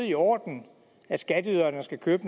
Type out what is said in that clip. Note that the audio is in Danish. i orden at skatteyderne skal købe